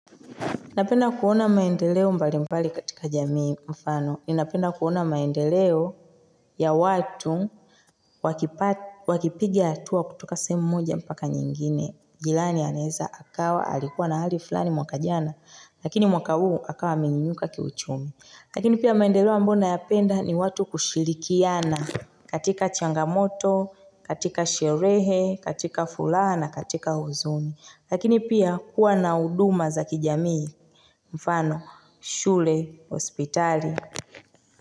Napenda kuona maendeleo mbali mbali katika jamii mfano. Inapenda kuona maendeleo ya watu wakipigia hatua kutoka semu mmoja mpaka nyingine. Jilani aneza akawa alikuwa na hali fulani mwaka jana. Lakini mwaka uu akawa minginyuka kiuchumi. Lakini pia maendeleo ambona yapenda ni watu kushilikiana katika changamoto, katika sherehe, katika fulana, katika huzuni. Lakini pia kuwa na uduma za kijamii. Mfano, shule, hospitali.